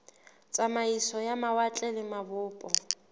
tsamaiso ya mawatle le mabopo